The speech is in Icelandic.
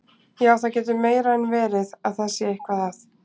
Já, það getur meira en verið að það sé eitthvað að.